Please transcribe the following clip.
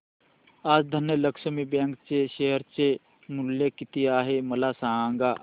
आज धनलक्ष्मी बँक चे शेअर चे मूल्य किती आहे मला सांगा